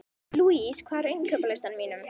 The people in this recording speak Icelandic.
Louise, hvað er á innkaupalistanum mínum?